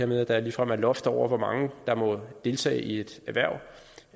med at der ligefrem er loft over hvor mange der må deltage i et erhverv